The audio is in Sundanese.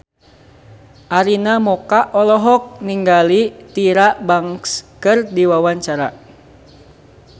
Arina Mocca olohok ningali Tyra Banks keur diwawancara